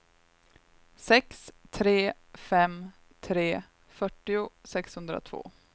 sex tre fem tre fyrtio sexhundratvå